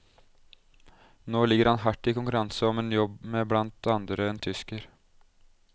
Nå ligger han i hard konkurranse om en jobb med blant andre en tysker.